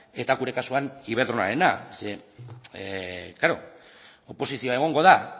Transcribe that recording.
eta gure kasuan iberdrolarena oposizioa egongo da